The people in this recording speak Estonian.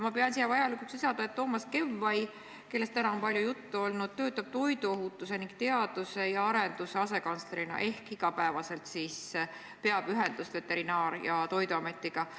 Ma pean vajalikuks lisada, et Toomas Kevvai, kellest täna on palju juttu olnud, töötab toiduohutuse ning teaduse ja arenduse asekantslerina ehk peab iga päev ühendust Veterinaar- ja Toiduametiga.